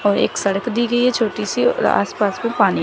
और एक सड़क दी गई है छोटी सी आस में पास पानी--